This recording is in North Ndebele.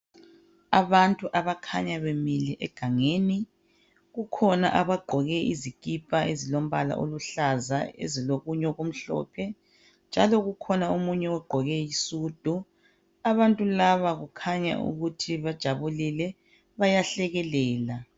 Abantu abakhanya bemile egangeni ,kukhona abagqoke izikipa ezilombala oluhlaza ezilokunye okumhlophe, njalo kukhona omunye ogqoke isudu. Abantu laba kukhanya ukuthi bajabulile bayahlekelela.